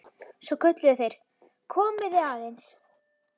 Svo kölluðu þeir: Komiði aðeins!